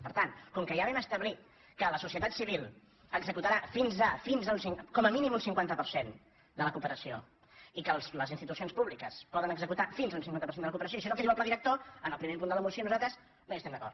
per tant com que ja vam establir que la societat civil executarà fins a com a mínim un cinquanta per cent de la cooperació i que les institucions públiques poden executar fins a un cinquanta per cent de la cooperació i això és el que diu el pla director en el primer punt de la moció nosaltres no hi estem d’acord